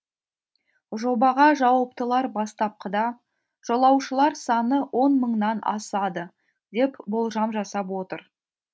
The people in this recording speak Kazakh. жобаға жауаптылар бастапқыда жолаушылар саны он мыңнан асады деп болжам жасап отыр